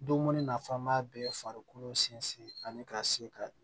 Dumuni nafama bɛɛ farikolo sinsin ani ka se ka